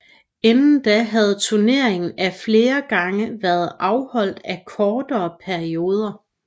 Inden da havde turneringen af flere gange før været afholdt af kortere perioder